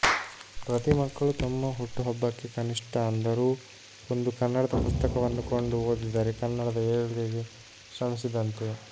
ಪ್ರತಿ ಮಕ್ಕಳು ತಮ್ಮ ಹುಟ್ಟುಹಬ್ಬಕ್ಕೆೆ ಕನಿಷ್ಟ ಅಂದರೂ ಒಂದು ಕನ್ನಡದ ಪುಸ್ತಕವನ್ನು ಕೊಂಡು ಓದಿದರೆ ಕನ್ನಡದ ಏಳ್ಗೆೆಗೆ ಶ್ರಮಿಸಿದಂತೆ